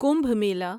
Kumbh Mela